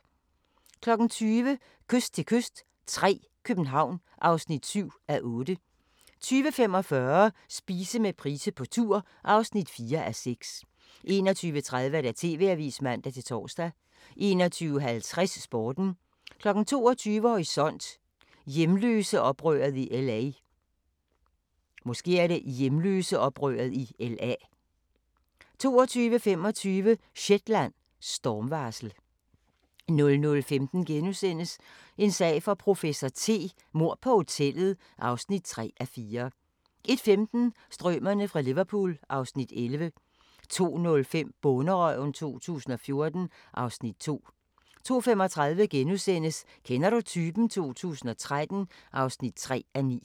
20:00: Kyst til kyst III – København (7:8) 20:45: Spise med Price på tur (4:6) 21:30: TV-avisen (man-tor) 21:50: Sporten 22:00: Horisont: Hjemløseoprøret i LA 22:25: Shetland: Stormvarsel 00:15: En sag for professor T: Mord på hotellet (3:4)* 01:15: Strømerne fra Liverpool (Afs. 11) 02:05: Bonderøven 2014 (Afs. 2) 02:35: Kender du typen? 2013 (3:9)*